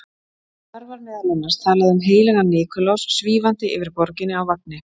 Þar var meðal annars talað um heilagan Nikulás svífandi yfir borginni á vagni.